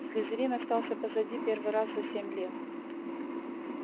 слизерин остался позади первый раз за семь лет